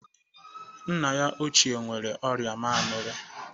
Nna ya ochie nwere ọrịa mamịrị.